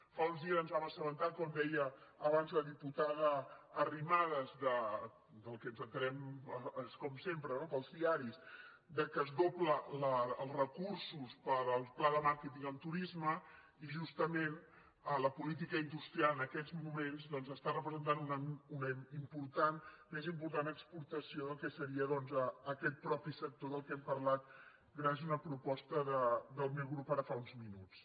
fa uns dies ens vam assabentar com deia abans la diputada arrimadas que ens n’assabentem com sempre no pels diaris que es doblen els recursos per al pla de màrqueting en turisme i justament la política industrial en aquests moments doncs està representant una més important exportació del que seria aquest mateix sector del qual hem parlat gràcies a una proposta del meu grup ara fa uns minuts